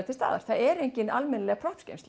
til staðar það er engin almennileg